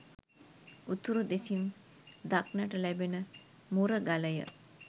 උතුරු දෙසින් දක්නට ලැබෙන මුරගලය.